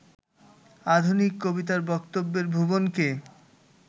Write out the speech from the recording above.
আধুনিক কবিতার বক্তব্যের ভুবনকে